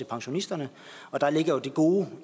pensionisterne og der er jo det gode